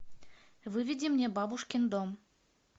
выведи мне бабушкин дом